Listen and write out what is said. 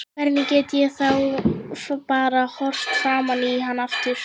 Hvernig get ég þá bara horft framan í hann aftur?